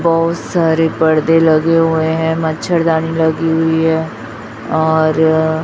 बहोत सारे परदे लगे हुए हैं मच्छरदानी लगी हुई है और--